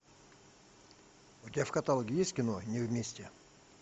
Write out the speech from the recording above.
у тебя в каталоге есть кино не вместе